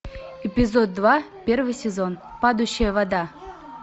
эпизод два первый сезон падающая вода